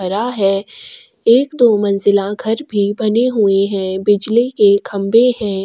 हरा है एक दो मंजिला घर भी बने हुए है बिजली के खंबे है।